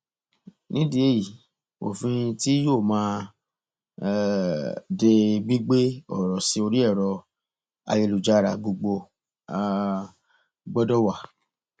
nídìí èyí òfin tí yóò máa um de gbígbé ọrọ sí orí ẹrọ ayélujára gbogbo um gbọdọ wà